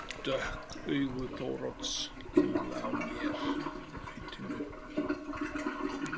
Dökk augu Þórodds hvíla á mér, nautinu.